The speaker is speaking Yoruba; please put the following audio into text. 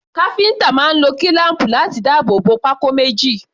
Káfíńtà náà lo kílám̀pù láti dáàbò bo pákó méjì.